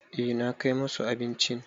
Eh na kai musu abincin.